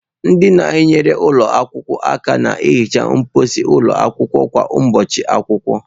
Ndị na-enyere ụlọ akwụkwọ aka na-ehicha mposi ụlọ akwụkwọ kwa ụbọchị akwụkwọ.